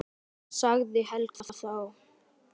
sagði Helga þá.